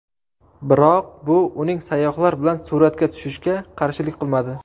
Biroq bu uning sayyohlar bilan suratga tushishga qarshilik qilmadi.